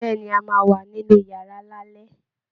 Bẹ́ẹ̀ ni, a máa wà nínú yàrá lálẹ́